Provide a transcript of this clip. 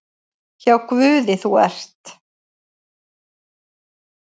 Hjá Guði þú ert.